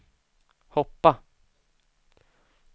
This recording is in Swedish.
hoppa